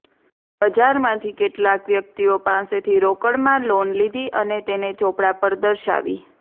બજારમાંથી કેટલાક વ્યક્તિઓ પાસેથી રોકડમાં લોન લીધી અને તેને ચોપડા પર દર્શાવી